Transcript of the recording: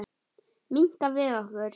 Minnka við okkur.